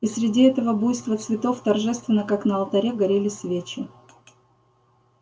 и среди этого буйства цветов торжественно как на алтаре горели свечи